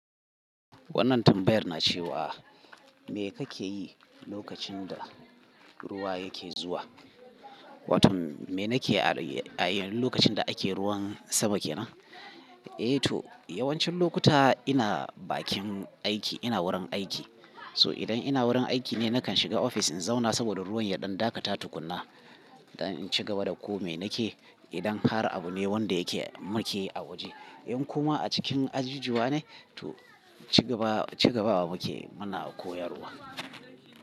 Wannan tambayar na cewa, me kake yi lokacin da ruwa yake zuwa? Watan me nake a yi lokacin da ake ruwan sama kenan? Eh to yawancin lokuta ina bakin aiki, ina wurin aiki. So idan ina wurin aiki ne nakan shiga ofis in zauna saboda ruwan ya ɗan dakata tukunna. Idan in cigaba da ko me nake, idan har abu ne wanda yake muke a waje. In kuma a cikin ajijuwa ne to cigaba cigabawa muke muna koyarwa.